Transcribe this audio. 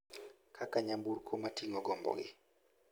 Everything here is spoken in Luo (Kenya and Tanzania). kaka nyamburko ma ting'o gombogi